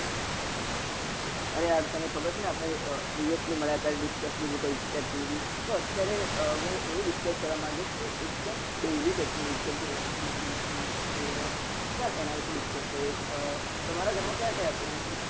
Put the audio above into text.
અહા યાર તને ખબર છે ને આપડે મળ્યા હતા discuss નું બધું કહીશું technology તો અત્યારે હું એવું discuss કરવા માંન્ગીસ કે એક દમ daily technology જેમ કે washing machine freeze owen તો ચલ એના વિશે discuss કરીએ અ તમારા ઘર માં કયા કયા plan